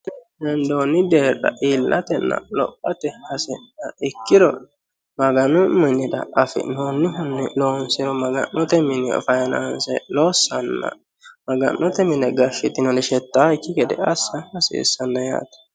hendoonni deerra iillatenna lopote hasi'nanniha ikkiro maganu minira afi'noonnihunni loonseemmohu faananse lossanna maga'note mine gashshitinori shettaakki gede assa hasiissanno yaate